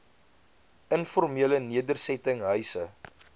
informele nedersetting huise